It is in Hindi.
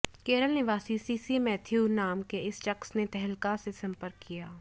केरल निवासी सीसी मैथ्यू नाम के इस शख्स ने तहलका से संपर्क किया